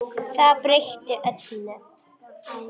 Það breytti öllu.